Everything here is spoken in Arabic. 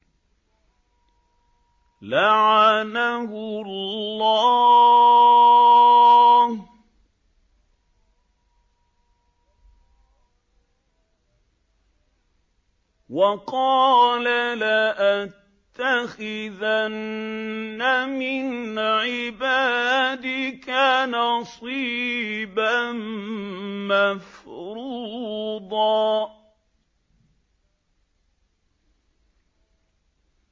لَّعَنَهُ اللَّهُ ۘ وَقَالَ لَأَتَّخِذَنَّ مِنْ عِبَادِكَ نَصِيبًا مَّفْرُوضًا